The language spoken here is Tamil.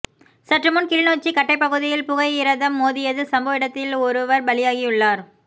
சற்றுமுன் கிளிநொச்சி கட்டை பகுதியில் புகையிரதம் மோதியதில் சம்பவ இடத்தில் ஒருவர் பலியாகியுள்ளார்